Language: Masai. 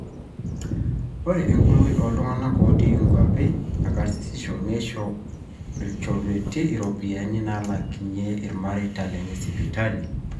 ore enkumoi ooltung'anak ootii inkuapi ekarsisisho neisho ilchorueti iropiyiani naalaakinye irmareita lenye sipitali